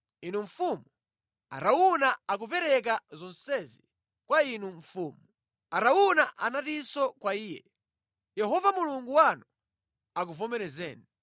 Inu mfumu, Arauna akupereka zonsezi kwa inu mfumu.” Arauna anatinso kwa iye, “Yehova Mulungu wanu akuvomerezeni.”